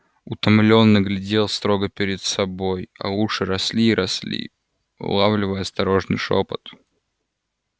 утомлённо глядел строго перед собой а уши росли и росли улавливая осторожный шёпот